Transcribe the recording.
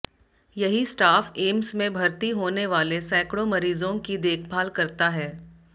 यही स्टाफ एम्स में भर्ती होने वाले सैकड़ों मरीजों की देखभाल करता है